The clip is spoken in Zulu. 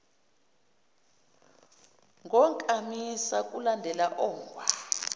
ngonkamisa kulandele ungwaqa